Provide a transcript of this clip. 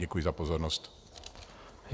Děkuji za pozornost.